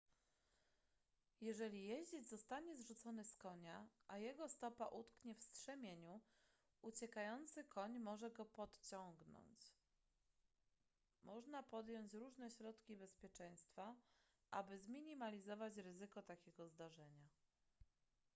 jeżeli jeździec zostanie zrzucony z konia a jego stopa utknie w strzemieniu uciekający koń może go pociągnąć można podjąć różne środki bezpieczeństwa aby zminimalizować ryzyko takiego zdarzenia